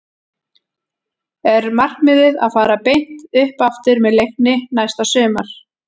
Er markmiðið að fara beint upp aftur með Leikni næsta sumar?